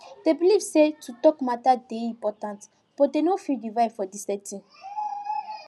dem believe say to talk matter dey important but dem no feel the vibe for the setting